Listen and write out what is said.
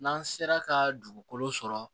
N'an sera ka dugukolo sɔrɔ